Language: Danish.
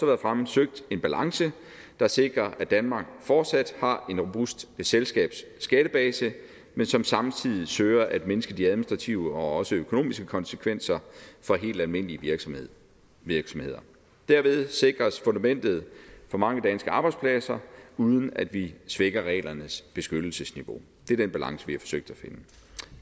været fremme søgt en balance der sikrer at danmark fortsat har en robust selskabsskattebase men som samtidig søger at mindske de administrative og økonomiske konsekvenser for helt almindelige virksomheder virksomheder derved sikres fundamentet for mange danske arbejdspladser uden at vi stækker reglernes beskyttelsesniveau det er den balance vi har forsøgt at finde